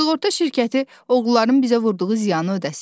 Sığorta şirkəti oğruların bizə vurduğu ziyanı ödəsin.